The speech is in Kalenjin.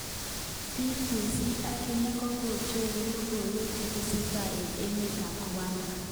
BBC akine kocheru lokowek chetesetai eng emet ab Rwanda.